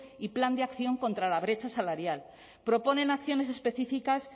y plan de acción contra la brecha salarial propone nociones específicas